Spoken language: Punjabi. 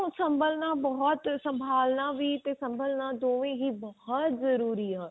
ਸਭਲਣਾ ਬਹੁਤ ਸਮਭਾਲਣਾ ਤੇ ਸਮਭਾਲਣਾ ਤੇ ਸਮਭਲਨਾ ਦੋਵੇਂ ਹੀ ਬਹੁਤ ਜਰੂਰੀ ਆ